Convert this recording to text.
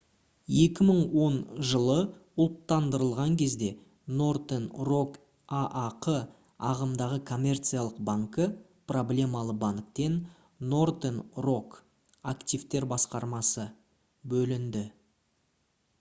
2010 жылы ұлттандырылған кезде northern rock аақ ағымдағы коммерциялық банкі проблемалы банктен northern rock активтер басқармасы бөлінді